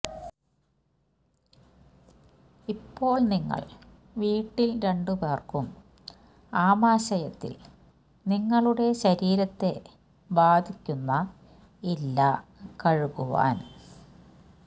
ഇപ്പോൾ നിങ്ങൾ വീട്ടിൽ രണ്ടുപേർക്കും ആമാശയത്തിൽ നിങ്ങളുടെ ശരീരത്തെ ബാധിക്കുന്ന ഇല്ല കഴുകുവാൻ